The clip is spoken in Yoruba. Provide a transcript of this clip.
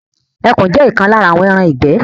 Ẹkùn jé òkan lára àwọn ẹran igbẹ